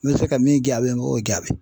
N bɛ se ka min gaabi n b'o jaabi